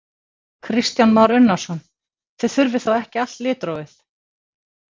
Kristján Már Unnarsson: Þið þurfið þá ekki allt litrófið?